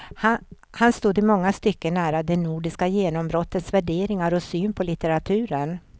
Han stod i många stycken nära det nordiska genombrottets värderingar och syn på litteraturen.